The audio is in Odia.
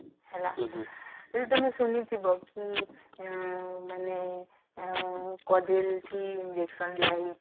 ହେଲା ବୋଲେ ତମେ ଶୁଣିଥିବ କି ଉଁ ମାନେ ଆ କଡିଲ କି injection ଦିଅ ହେଇଛି